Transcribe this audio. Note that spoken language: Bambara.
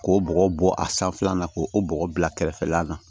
K'o bɔgɔ bɔ a sanfɛla la k'o o bɔgɔ bila kɛrɛfɛ la na